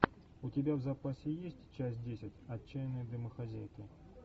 у тебя в запасе есть часть десять отчаянные домохозяйки